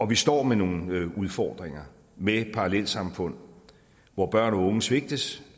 vi står med nogle udfordringer med parallelsamfund hvor børn og unge svigtes